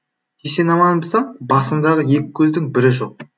есен аманбысың басыңдағы екі көздің бірі жоқ